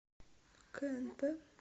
кнп